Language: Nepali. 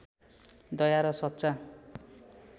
दया र सच्चा